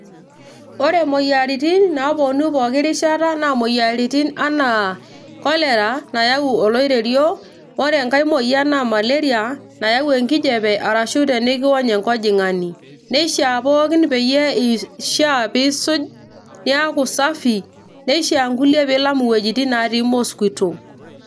ore imoyiaritin naaponu poki rishata naa imoyiaritin enaa cholera nayau oloirerio ore enkay moyian naa malaria nayau enkijape arashu tenikiwony enkojing'ani neishaa pookin peyie, ishiaa piisuj niaku safi nishiaa nkulie piilam iwuejitin natii mosquito.